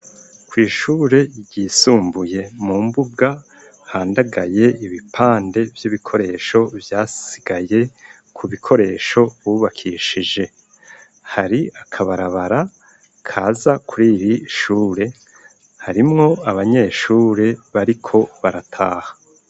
Kw'ishure ryisumbuye, mu mbuga, handagaye ibipande, vy'ibikoresho vyasigaye, ku bikoresho bubakishije; hari akabarabara, kaza kuri iri shure, harimwo abanyeshure, bariko barataha.